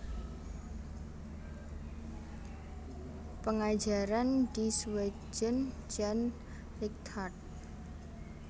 Pengajaran di Sweden Jan Lighthart